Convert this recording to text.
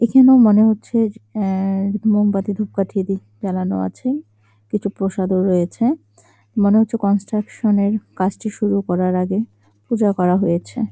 এইখানে মনে হচ্ছে-য আহ মোমবাতি ধূপকাঠি দি জ্বালানো আছে । কিছু প্রসাদও রয়েছে মনে হচ্ছে কনস্ট্রাকশন - এর কাজটি শুরু করার আগে পুজো করা হয়েছে ।